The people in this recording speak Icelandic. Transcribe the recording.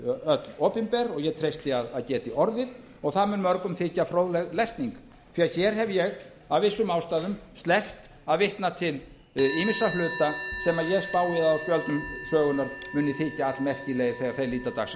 öll opinber og ég treysti að geti orðið og það mun mörgum þykja fróðleg lesning því hér hef ég af vissum ástæðum sleppt að vitna til ýmissa hluta sem ég spái að gögnum sögunnar muni þykja allmerkilegir þegar þeir líta dagsins